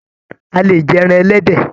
A lè jẹ ẹran ẹlẹ́dẹ̀.